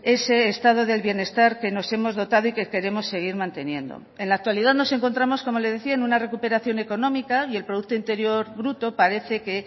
ese estado del bienestar que nos hemos dotado y que queremos seguir manteniendo en la actualidad nos encontramos como le decía en una recuperación económica y el producto interior bruto parece que